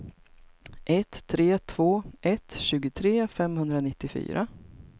ett tre två ett tjugotre femhundranittiofyra